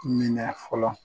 Minɛ fɔlɔ